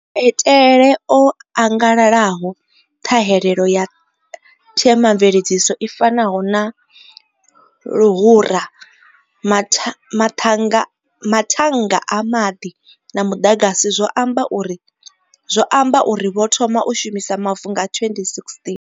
Maitele o angalalaho ṱhahelelo ya themamveledziso i fanaho na luhura, mathannga a maḓi na muḓagasi zwo amba uri vho thoma u shumisa mavu nga 2016.